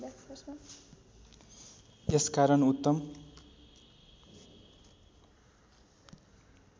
यस कारण उत्तम